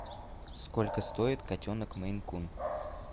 сколько стоит котенок мейн кун